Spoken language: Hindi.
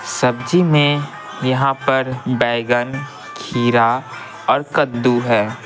सब्जी में यहाँ पर बैंगन खीरा और कद्दू है।